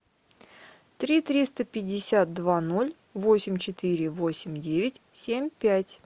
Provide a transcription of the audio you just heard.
три триста пятьдесят два ноль восемь четыре восемь девять семь пять